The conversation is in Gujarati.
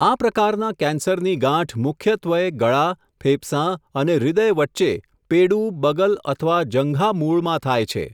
આ પ્રકારના કેન્સરની ગાંઠ મુખ્યત્વય ગળા, ફેફસાં અને હૃદય વચ્ચે, પેડુ, બગલ અથવા જંઘામૂળમાં થાય છે.